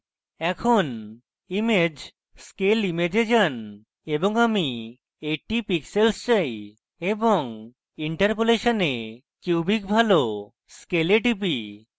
এখন image scale image এ যান এবং আমি 80 pixels চাই এবং interpolation এ cubic ভালো scale এ টিপি